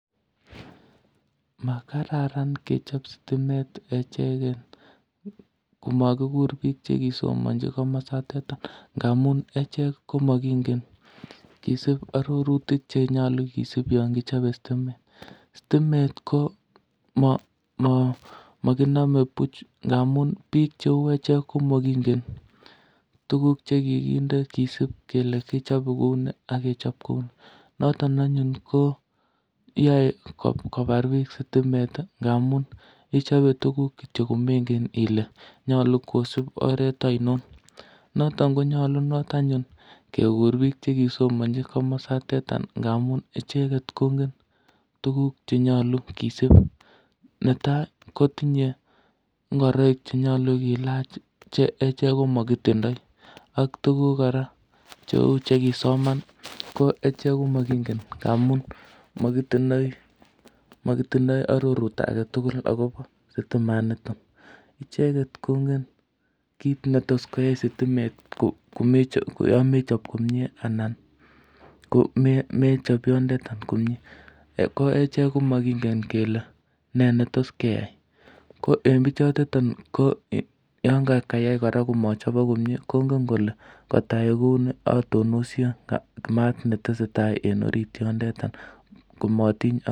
Makararan kechop stimet echegen komakikur biik chekisomanji komosotetan ngamun echek ko makingen kisip arorutik chenyalu kisipi yon kichope stimet. Stimet ko makiname buch ngamun biik cheu echek komakingen tuguk che kikinde kisip kele kichope kou ni ak kechop kou ni. Noton anyun ko yoe kobar biik sitimet ngamun ichobe tuguk kityo komengen ile nyalu kosip oret ainon. Noton konyalunot anyun kegur biik chekisomanji komosoteta ngamun icheget kongen tuguk che nyalu kisip. Neta kotinye ngoroik che nyalu kilach che echek ko makitindoi ak tuguk kora cheu chekisoman komakingen ngamun mokitindoi arorut age tugul agobo sitimanito. Icheget kongen kit netos koyai sitimet komechop, yon mechap komie anan mechop yonndetan komie. Ko echek ko makingen kele ne netos keyai. Ko en biichotetan ko yon kayai kora komochobok komie kongen kole ngotayai kuni atonosie mat en orit yondeta komatinyon.